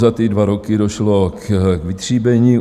Za ty dva roky došlo k vytříbení.